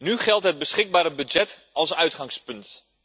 Nu geldt het beschikbare budget als uitgangspunt.